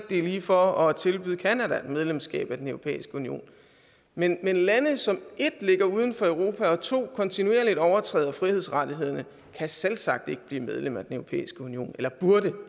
det er lige for at tilbyde canada et medlemskab af den europæiske union men lande som 1 ligger uden for europa og 2 kontinuerligt overtræder frihedsrettighederne kan selvsagt ikke blive medlem af den europæiske union eller burde